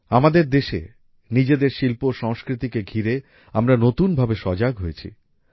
আমাদের দেশে নিজেদের শিল্প ও সংস্কৃতিকে ঘিরে আমরা নতুন ভাবে সজাগ হয়েছি